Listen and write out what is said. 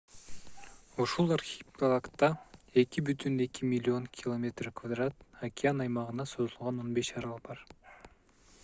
ушул архипелагда 2,2 миллион км2 океан аймагына созулган 15 арал бар